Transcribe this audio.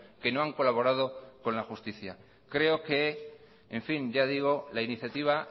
que no han colaborado con la justicia creo que en fin ya digo la iniciativa